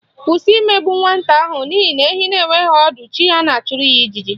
Kwụsị imegbu nwata ahụ n'ihi na ehi na-enweghị ọdụ chi ya na-achụrụ ya ijiji